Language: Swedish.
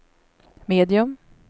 medium